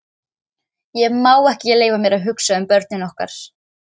Ég má ekki leyfa mér að hugsa um börnin okkar.